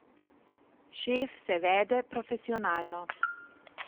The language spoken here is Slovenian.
Šef se vede profesionalno.